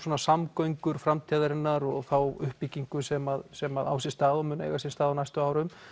samgöngur framtíðarinnar og þá uppbyggingu sem sem á sér stað og mun eiga sér stað á næstu árum